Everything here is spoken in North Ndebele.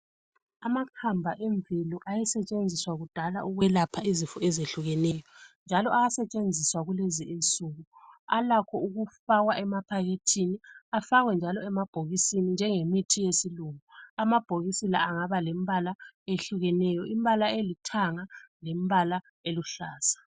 Amakhamba emvelo ayesetshenziswa kudala ukwelapha izifo ezehlukeneyo njalo ayasetshenziswa kulezi insuku, alakho ukufakwa emaphakhethini afakwe njalo emabhokisini njengemithi yesilungu. Amabhokisi lawa angaba lembala ehlukeneyo, imbala elithanga lembala oluhlaza.